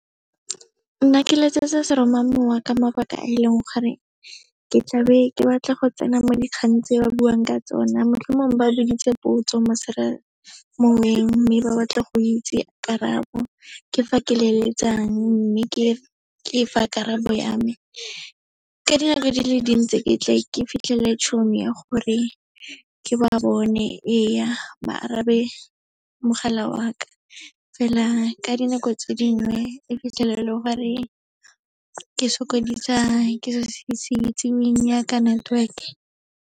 Nna ke letsetsa seromamowa ka mabaka a e leng gore, ke tlabe ke batla go tsena mo dikgang tse ba buang ka tsona, motlhomong ba buditse potso mo , mme ba batla go itse karabo, ke fa ke leletsang, mme ke fa karabo ya me. Ka dinako di le dintsi ke tle ke fitlhelele tšhono ya gore ke ba bone, ee ba arabe mogala wa ka. Fela ka dinako tse dingwe, o fitlhela e le gore ke sokodisiwa ke selo se se itseweng yaka network-e.